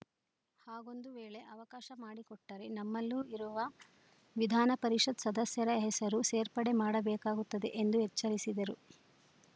ಹಾಗೊಂದು ವೇಳೆ ಅವಕಾಶ ಮಾಡಿಕೊಟ್ಟರೆ ನಮ್ಮಲ್ಲೂ ಇರುವ ವಿಧಾನಪರಿಷತ್‌ ಸದಸ್ಯರ ಹೆಸರು ಸೇರ್ಪಡೆ ಮಾಡಬೇಕಾಗುತ್ತದೆ ಎಂದು ಎಚ್ಚರಿಸಿದರು